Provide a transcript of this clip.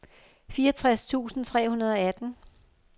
fireogtres tusind tre hundrede og atten